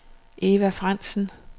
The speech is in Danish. Eva Frandsen